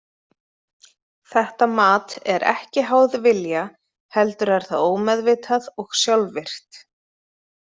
Þetta mat er ekki háð vilja heldur er það ómeðvitað og sjálfvirkt.